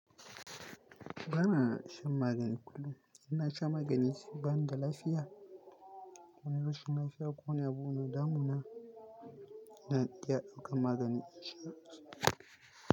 Ba na shan magani kullum. In na shan magani sai bani da lafiya. Wani rashin lafiya ko wani abu na damuna, ina iya ɗaukar magani in sha.